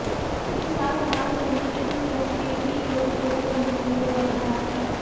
इस साल हनुमान जयंती के दिन गजकेसरी योग एवं अमृत योग बन रहा है